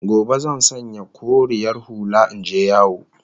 Gobe zan sanya koriyar hula in je yawo